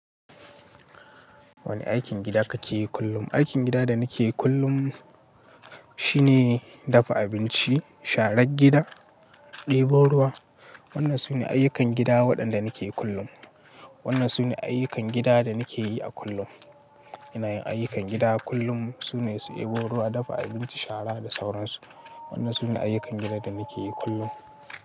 Wani aikin gida kake yi kullum? Aikin gida da nike yi kullum shine dafa abinci, sharan gida, ɗebo ruwa. Wannan sune ayyukan gida waɗanda nike kullum. Wannan sune ayyukan gida da nike yi a kullum. Inayin ayyukan gida kullum sune su ɗebo ruwa, dafa abinci, shara da sauransu. Wannan sune ayyukan gida da nike yi kullum.